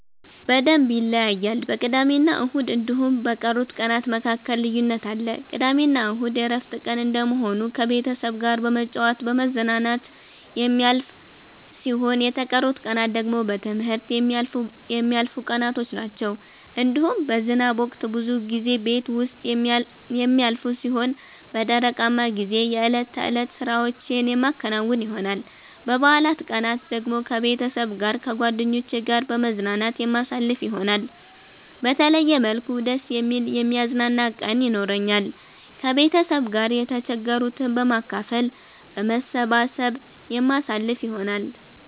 በደምብ ይለያያል በቅዳሜና እሁድ እንዲሁም በቀሩት ቀናት መካከል ልዩነት አለ። ቅዳሜና እሁድ የእረፍት ቀን እንደመሆኑ ከቤተሰብ ጋራ በመጫወት በመዝናናት የሚያልፍ ሲሆን የተቀሩት ቀናት ደግሞ በትምህርት የሚያልፉቀናቶች ናቸዉ። እንዲሁም በዝናብ ወቅት ብዙ ጊዜ ቤት ዉስጥ የሚያልፍ ሲሆን በደረቃማ ጊዜ የእለት ተእለት ስራዎቼን የማከናዉን ይሆናል። በበአላት ቀናት ደግሞ ከቤተሰብ ጋር ከጓደኜቼ ጋራ በመዝናናት የማሳልፍ ይሆናል። በተለየ መልኩ ደስ የሚል የሚያዝናና ቀን የኖራኛል። ከቤተሰብ ጋር የተቸገሩትን በማካፈል በመሰባሰብ የምናሳልፍ ይሆናል።